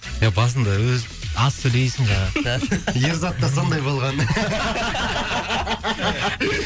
е басында өзі аз сөйлейсің жаңағы ерзат та сондай болған